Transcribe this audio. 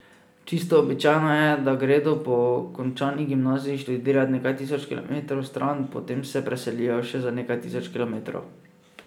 Čisto običajno je, da gredo po končani gimnaziji študirat nekaj tisoč kilometrov stran, potem se preselijo še za nekaj tisoč kilometrov.